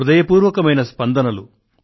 హృదయపూర్వక స్పందనలు